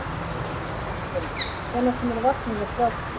Ásgerður, hvenær kemur vagn númer þrjátíu?